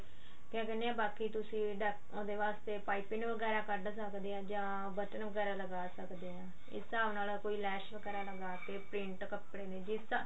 ਕਿਆ ਕਹਿੰਦੇ ਆ ਬਾਕੀ ਤੁਸੀਂ ਅਹ ਉਹਦੇ ਵਾਸਤੇ ਪਾਈਪਿੰਨ ਵਗੈਰਾ ਕੱਢ ਸਕਦੇ ਹਾਂ ਜਾਂ ਬਟਨ ਵਗੈਰਾ ਲਗਾ ਸਕਦੇ ਹਾਂ ਇਸ ਹਿਸਾਬ ਨਾਲ ਕੋਈ ਲੈਸ ਵਗੈਰਾ ਲਗਾ ਕੇ ਪ੍ਰਿੰਟ ਕੱਪੜੇ ਜਿਸ